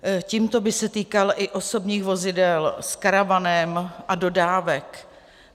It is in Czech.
Tímto by se týkal i osobních vozidel s karavanem a dodávek.